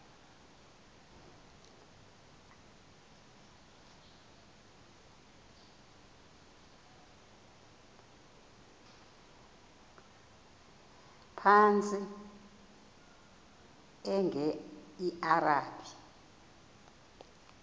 phantsi enge lrabi